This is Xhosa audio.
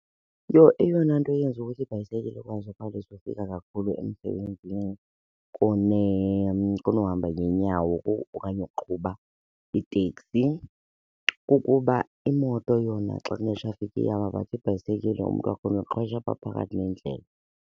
Eyona nto yenza ukuthi ibhayisekile ikwazi ukhawuleza ufika kakhulu emsebenzini kunohamba ngeenyawo okanye ukuqhuba iteksi kukuba imoto yona xa kune-traffic iyama but ibhayisekile umntu wakhona uqhwesha apha phakathi nendlela.